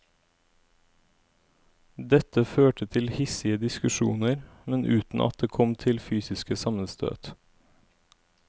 Dette førte til hissige diskusjoner, men uten at det kom til fysiske sammenstøt.